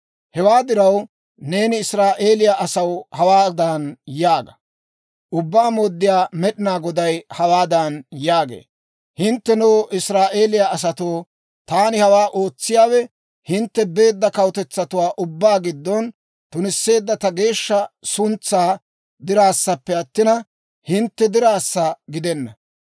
«Hewaa diraw, neeni Israa'eeliyaa asaw hawaadan yaaga; ‹Ubbaa Mooddiyaa Med'inaa Goday hawaadan yaagee; «Hinttenoo, Israa'eeliyaa asatoo, taani hawaa ootsiyaawe, hintte beedda kawutetsatuwaa ubbaa giddon tunisseedda ta geeshsha suntsaa diraassappe attina, hintte diraassa giddenna.